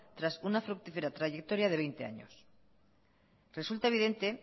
tras una fructífera trayectoria de veinte años resulta evidente